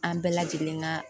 An bɛɛ lajɛlen ka